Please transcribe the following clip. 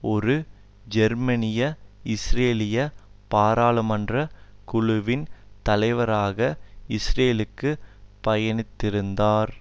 ஒரு ஜேர்மனியஇஸ்ரேலிய பாராளுமன்ற குழுவின் தலைவராக இஸ்ரேலுக்கு பயணித்திருந்தார்